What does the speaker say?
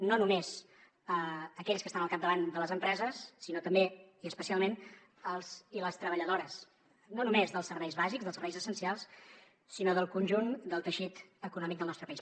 no només aquells que estan al capdavant de les empreses sinó també i especialment els i les treballadores no només dels serveis bàsics dels serveis essencials sinó del conjunt del teixit econòmic del nostre país